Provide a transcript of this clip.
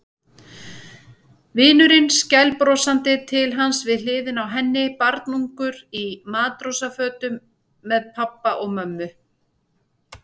Vinurinn skælbrosandi til hans við hliðina á henni, barnungur í matrósafötum með pabba og mömmu.